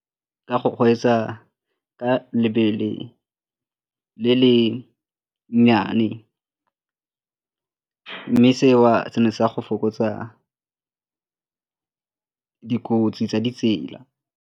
Ka go kgweetsa ka lebelo le le nnyane mme seo se ne se ya go fokotsa dikotsi tsa ditsela.